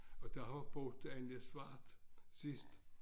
Og der har boet Anne Svart sidst